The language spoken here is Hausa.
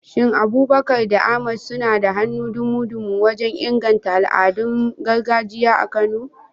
Shin Abubakar da Ahmad suna da hannu dumu-dumu wajen inganta al'adun gargajiya a Kano?